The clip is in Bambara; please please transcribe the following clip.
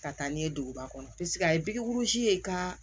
Ka taa ni ye duguba kɔnɔ paseke a ye ye ka